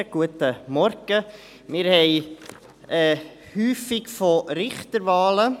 Wir haben es häufig von Richterwahlen.